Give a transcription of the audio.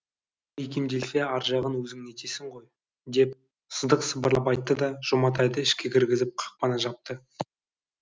икемделсе ар жағын өзің нетесің ғой деп сыдық сыбырлап айтты да жұматайды ішке кіргізіп қақпаны жапты